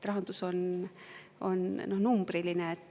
Rahandus on numbriline.